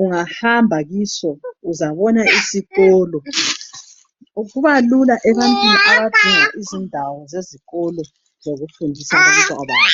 ungahamba kiso uzabona isikolo kuba lula ebantwini abadinga indawo zezikolo abafuna ukufundisa abantwana babo.